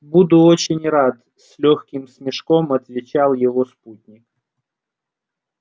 буду очень рад с лёгким смешком отвечал его спутник